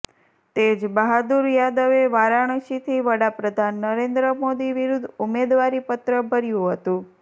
તેજ બહાદુર યાદવે વારાણસીથી વડાપ્રધાન નરેન્દ્ર મોદી વિરૂદ્ધ ઉમેદવારી પત્ર ભર્યુ હતું